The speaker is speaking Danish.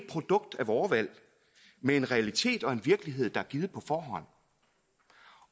produkt af vore valg men en realitet og en virkelighed der er givet på forhånd